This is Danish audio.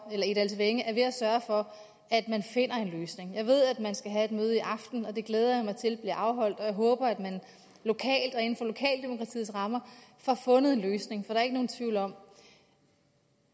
egedalsvænge er ved at sørge for at man finder en løsning jeg ved at man skal have et møde i aften og det glæder jeg mig til bliver afholdt jeg håber at man lokalt og inden for lokaldemokratiets rammer får fundet en løsning for der er ikke nogen tvivl om